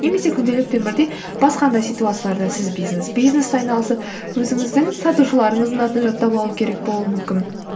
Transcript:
немесе күнделікті өмірде басқа да ситуацияларда сіз бизнеспен айналысып өзіңіздің сатушыларыңыздың атын жаттап алу керек болуы мүмкін